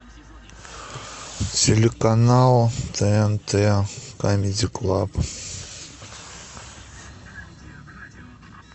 телеканал тнт камеди клаб